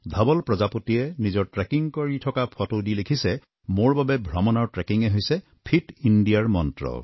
ধাৱল প্ৰজাপতিয়ে নিজৰ ট্ৰেকিং কৰা থকা ফটো দি লিখিছে মোৰ বাবে ভ্ৰমণৰ ট্ৰেকিঙেই হৈছে ফিট ইণ্ডিয়াৰ মন্ত্ৰ